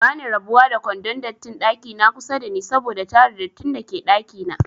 Bani rabuwa da kwandon dattin ɗakina kusa dani saboda tara dattin dake ɗakina